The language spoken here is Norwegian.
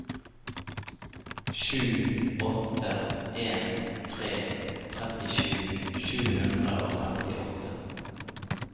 sju åtte en tre trettisju sju hundre og femtiåtte